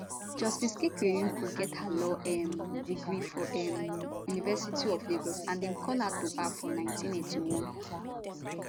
justice kekereekun get her law um degree from um university of lagos and dem call her to bar for 1981